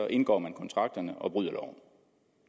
indgår man kontrakterne og bryder loven